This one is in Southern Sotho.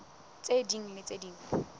tse ding le tse ding